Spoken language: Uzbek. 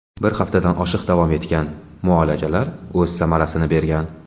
Bir haftadan oshiq davom etgan muolajalar o‘z samarasini bergan.